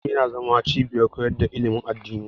Masallaci yana zama cibiyar koyar da ilimin addini.